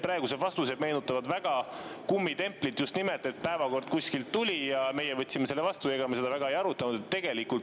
Praegused vastused meenutavad väga kummitemplit, just nimelt, et päevakord kuskilt tuli ja meie võtsime selle vastu ja ega me seda ei arutanud.